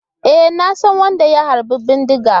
E, na san wadda ya harba bindiga.